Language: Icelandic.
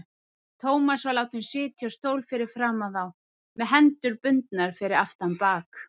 Thomas var látinn sitja á stól fyrir framan þá, með hendur bundnar fyrir aftan bak.